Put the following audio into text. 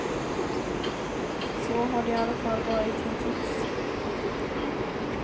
Så har det i alla fall varit hittills.